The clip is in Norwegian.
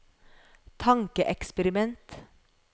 tankeeksperiment